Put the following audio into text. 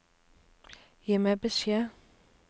Gi meg beskjed